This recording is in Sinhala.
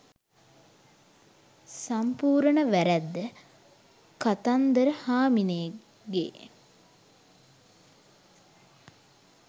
සම්පූරන වැ‍රැද්ද කතන්දර හාමිනේගෙ